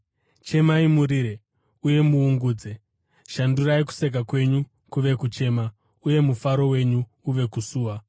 Chemai, murire uye muungudze. Shandurai kuseka kwenyu kuve kuchema uye mufaro wenyu uve kusuwa.